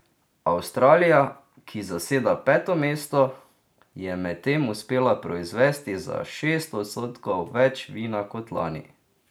Avstralija, ki zaseda peto mesto, je medtem uspela proizvesti za šest odstotkov več vina kot lani.